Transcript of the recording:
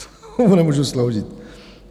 Tomu nemůžu sloužit.